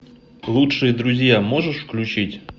лучшие друзья можешь включить